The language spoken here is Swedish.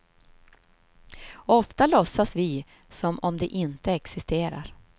Ofta låtsas vi som om de inte existerar.